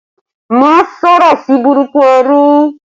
Má sọ̀rọ̀ burúkú sí ẹrú